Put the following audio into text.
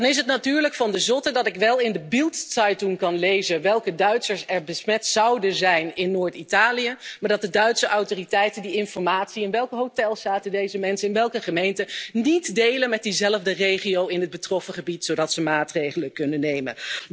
En dan is het natuurlijk van de zotte dat ik wel in de Bild Zeitung kan lezen welke Duitsers er besmet zouden zijn in Noord Italië, maar dat de Duitse autoriteiten die informatie in welke hotels zaten deze mensen, in welke gemeente niet delen met diezelfde regio in het getroffen gebied zodat ze maatregelen kunnen nemen.